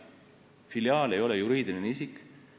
Filiaal ei ole juriidiline isik.